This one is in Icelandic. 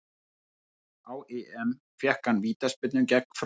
Á EM fékk hann vítaspyrnu gegn Frökkum.